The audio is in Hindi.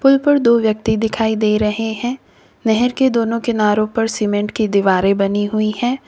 पूल पर दो व्यक्ति दिखाई दे रहे हैं नहर के दोनों किनारों पर सीमेंट की दीवारें बनी हुई है।